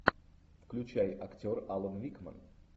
включай актер алан рикман